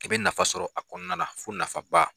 I' be nafa sɔrɔ a kɔnɔna na fo nafa ba.